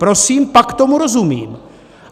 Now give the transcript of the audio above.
Prosím, pak tomu rozumím.